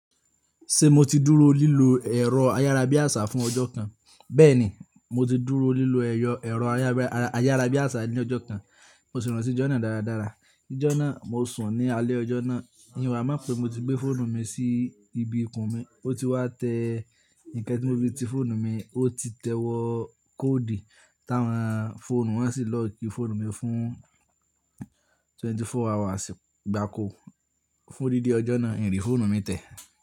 Ṣé mo ti dúró lílo ẹ̀rọ ayárabíàṣá fún ọjọ́ kan? Bẹ́ẹ̀ni, mo ti dúró lílo ẹ̀yọ̀ ẹ̀rọ ayárabíàṣá ní ọjọ́ kan. Mo sì rántí ijọ́ náà dáradára. Ijọ́ náà mo sùn ní alẹ́ ọjọ́ náà. Emi ó wà mo pè mo ti gbé fóònù mi sí ibi ikùn mi. O ti wá tẹ nǹkan tí mo fi ti fóònù mi, o ti tẹ wọ kóòdì táwọn fóònù wọn sì lọ́ọ̀kì fóònù mi fún twenty four hours gbáko. Fún dídi ọjọ́ náà, n rí fóònù mi tẹ́